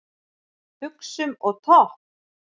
Buxum og topp?